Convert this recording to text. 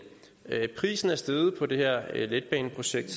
prisen er steget på det her letbaneprojekt